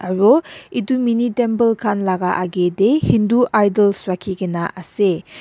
aru itu mini temple khan laga agey dey hindu idols rakhigena ase.